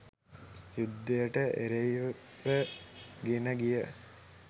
යුද්ධයට එරෙහිව ගෙනගිය